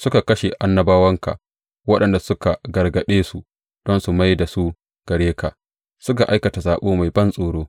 Suka kashe annabawanka waɗanda suka gargaɗe su don su mai da su gare ka; suka aikata saɓo mai bantsoro.